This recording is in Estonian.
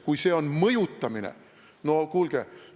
Kui see on mõjutamine, siis no kuulge!